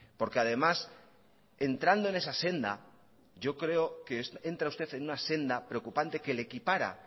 porque además entrando en esa senda yo creo que entra usted en una senda preocupante que le equipara